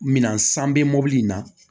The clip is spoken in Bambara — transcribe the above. Minan san bɛ mobili in na